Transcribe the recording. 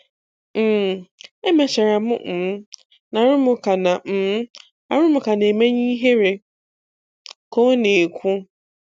um Emechara m um na arụmụka na um arụmụka na-emenye ihere, "ka ọ na-ekwu.